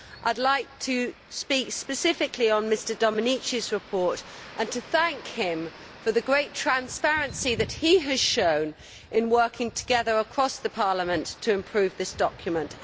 I would like to speak specifically on Mr Domenici's report and to thank him for the great transparency that he has shown in working together across Parliament to improve this document.